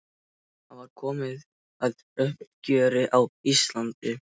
Það var komið að uppgjöri á Íslandi.